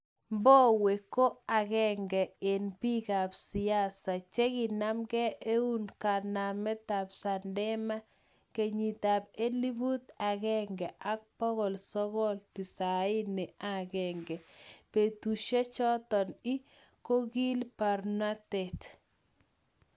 Mbowe ko agenge en bikab siasa chekinam eun kanametab Chadema kenyitab elfut agenge bokol sogol tisaini ak aeng, betushechoton ii kokii barnotyot